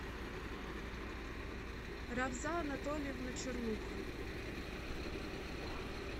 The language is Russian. равза анатольевна чернуха